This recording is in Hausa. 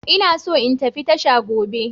Ina so in tafi tasha gobe.